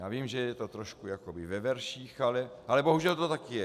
Já vím, že je to trošku jakoby ve verších, ale bohužel to tak je.